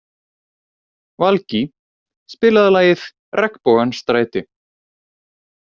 Valgý, spilaðu lagið „Regnbogans stræti“.